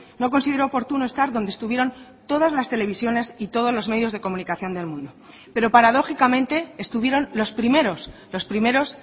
no consideró oportuno estar donde estuvieron todas las televisiones y todos los medios de comunicación del mundo pero paradójicamente estuvieron los primeros los primeros